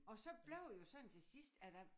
Og så blev det jo sådan til sidst at